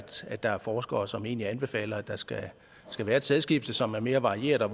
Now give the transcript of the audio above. se at der er forskere som egentlig anbefaler at der skal skal være et sædskifte som er mere varieret og